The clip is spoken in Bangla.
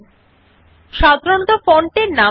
সাধারণত ফন্টের নাম লিবারেশন সেরিফ নির্দিষ্ট করা থাকে